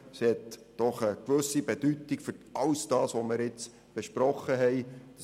Sie hat eine gewisse Bedeutung für all das, was wir bisher besprochen haben.